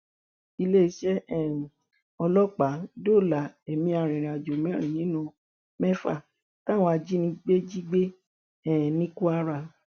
iléeṣẹ um ọlọpàá dóòlà ẹmí arìnrìnàjò mẹrin nínú mẹfà táwọn ajìnígbé jì gbé um ní kwara